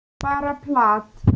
Bara plat.